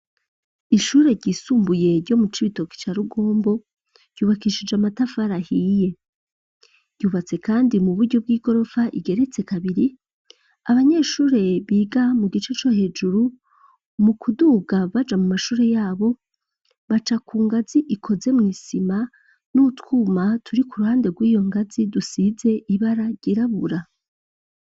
Ishure ryisumbuye ryo mu cibitoki ca rugombo yubakishije amatafara*i ahiye yubatse kandi mu buryo bw'igorofa igeretse kabiri abanyeshure biga mu gice co hejuru mu kuduga baja mu mashure yabo baca ku ngazi ikoze mu isima n'utwuma turi ku ruhande rw'iyo ngazi dusize ibara ryirabura.